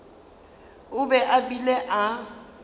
o be a bile a